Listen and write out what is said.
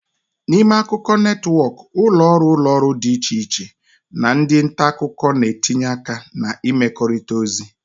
N'ime akụkọ netwọkụ, ụlọ ọrụ ụlọ ọrụ dị iche iche na ndị nta akụkọ na-etinye aka na ịmekọrịta ozi